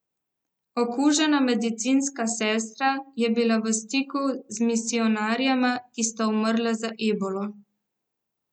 Okužena medicinska sestra je bila v stiku z misijonarjema, ki sta umrla za ebolo.